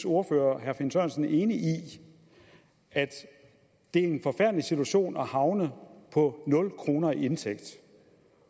ordfører herre finn sørensen enig i at det er en forfærdelig situation at havne på nul kroner i indtægt